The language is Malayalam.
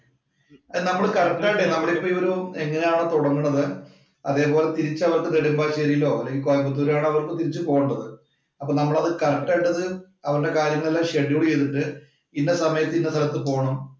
നമ്മള് കറക്റ്റ് ആയിട്ടെ അവരിപ്പം എങ്ങനെയാണ് തൊടങ്ങണത് അതേപോലെ തിരിച്ച് അവര്‍ക്ക് നെടുമ്പാശ്ശേരിയിലോ, കോയമ്പത്തൂരോ ആണ് അവർക്ക് തിരിച്ചു പോകേണ്ടത്. അപ്പോൾ നമ്മൾ അത് ആ കറക്റ്റ് ആയിട്ട് അത് അവരുടെ കാര്യങ്ങളെല്ലാം ഷെഡ്യൂള്‍ ചെയ്തിട്ട് ഇന്ന സമയത്ത് ഇന്ന സ്ഥലത്ത് പോണം